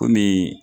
Kɔmi